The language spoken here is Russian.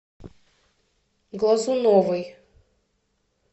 глазуновой